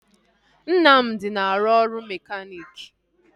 Nnamdi na-arụ ọrụ mekaniiki